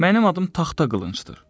Mənim adım taxta qılıncdır.